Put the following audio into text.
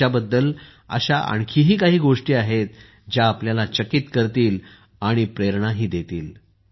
तिच्याबद्दल अशा आणखीही काही गोष्टी आहेत ज्या आपल्याला चकित करतील आणि प्रेरणाही देतील